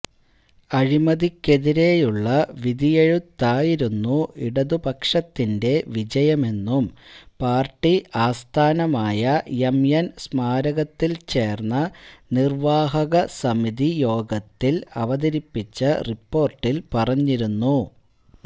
അഴിമതിക്കെതിരെയുള്ള വിധിയെഴുത്തായിരുന്നു ഇടതുപക്ഷത്തിന്റെ വിജയമെന്നും പാർട്ടി ആസ്ഥാനമായ എംഎൻ സ്മാരകത്തിൽ ചേർന്ന നിർവാഹക സമിതി യോഗത്തില് അവതരിപ്പിച്ച റിപ്പോര്ട്ടില് പറഞ്ഞിരുന്നു